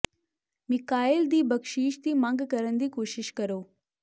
Michael ਦੀ ਬਖਸ਼ਿਸ਼ ਦੀ ਮੰਗ ਕਰਨ ਦੀ ਕੋਸ਼ਿਸ਼ ਕਰੋ